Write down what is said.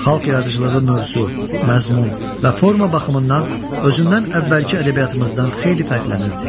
Xalq yaradıcılığı mövzu, məzmun və forma baxımından özündən əvvəlki ədəbiyyatımızdan xeyli fərqlənirdi.